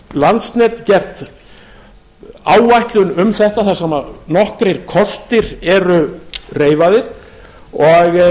landsnet gert áætlun um þetta þar sem nokkrir kostir eru reifaðir og